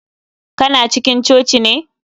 Kana cikin coci ne